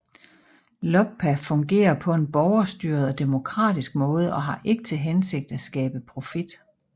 LOBPA fungerer på en borgerstyret og demokratisk måde og har ikke til hensigt at skabe profit